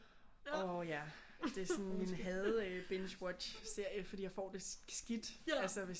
Åh ja det er sådan min hade øh binge watch serie fordi jeg for det skidt altså hvis jeg ser